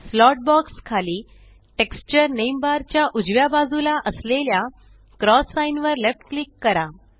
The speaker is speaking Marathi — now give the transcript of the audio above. स्लॉट बॉक्स खाली टेक्स्चर नेम बार च्या उजव्या बाजूला असलेल्या क्रॉस साइन वर लेफ्ट क्लिक करा